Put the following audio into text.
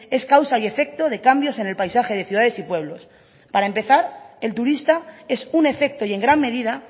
es causa y efecto de cambios en el paisaje de ciudades y pueblos para empezar el turista es un efecto y en gran medida